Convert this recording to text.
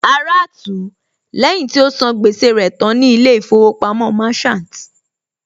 Ara tú ú lẹ́yìn tí ó sàn gbẹ́sẹ̀ rẹ̀ tán ní ilé ìfowópamọ́ Merchant